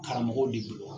Karamɔgɔw de don